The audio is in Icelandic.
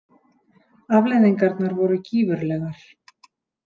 Afleiðingarnar voru gífurlegar.